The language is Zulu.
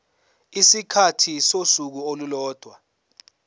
isikhathi sosuku olulodwa